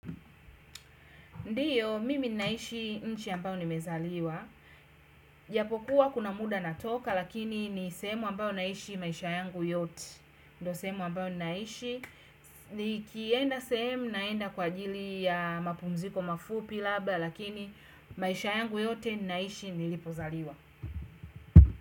Ndiyo, mimi naishi nchi ambayo nimezaliwa. Japokuwa kuna muda natoka, lakini ni sehemu ambayo naishi maisha yangu yote. Ndio sehemu ambayo naishi. Nikienda sehemu naenda kwa ajili ya mapumziko mafupi laba, lakini maisha yangu yote naishi nilipozaliwa.